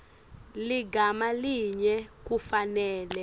ligama linye kufanele